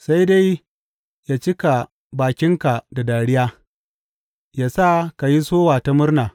Sai dai yă cika bakinka da dariya, yă sa ka yi sowa ta murna.